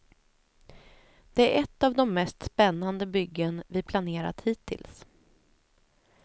Det är ett av de mest spännande byggen vi planerat hittills.